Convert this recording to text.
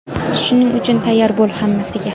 Shuning uchun tayyor bo‘l hammasiga.